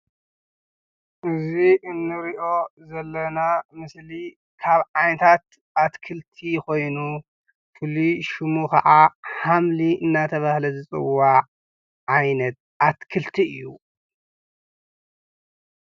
እዚ እንርእዮ ዘለና ምስሊ ካብ ዓይነታት ኣትክልቲ ኮይኑ ፍሉይ ሹሙ ከዓ ሓምሊ እናተባሃለ ዝፅዋዕ ዓይነት ኣትክልቲ እዩ።